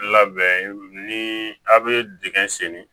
Labɛn ni a bɛ dingɛ senni